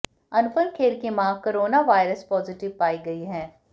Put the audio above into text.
अनुपम खेर की मां corona virus positive पाई गई हैं